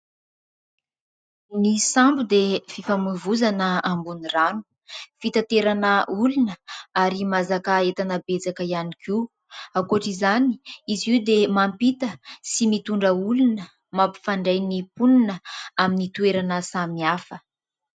Ny sambo dia fifamoivoizana amboniny rano. Fitanterana olona ary mahazaka entana betsaka ihany koa. ankoatr'izany, izy io dia mampita sy mitondra olona mampifandray ny mponina amin'ny toerana samihafa.